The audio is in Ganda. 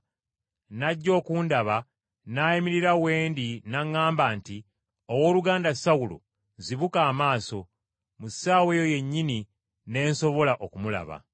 n’ajja okundaba n’ayimirira we ndi n’aŋŋamba nti, ‘Owooluganda Sawulo, zibuka amaaso!’ Mu ssaawa eyo yennyini ne nsobola okumulaba!